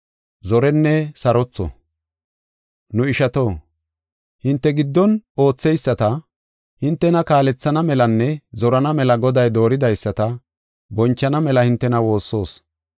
Nu ishato, hinte giddon ootheyisata, hintena kaalethana melanne zorana mela Goday dooridaysata bonchana mela hintena woossoos.